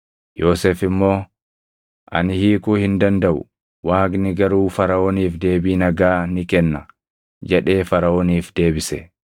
Yoosef immoo, “Ani hiikuu hin dandaʼu; Waaqni garuu Faraʼooniif deebii nagaa ni kenna” jedhee Faraʼooniif deebise.